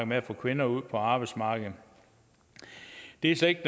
med at få kvinder ud på arbejdsmarkedet det er slet ikke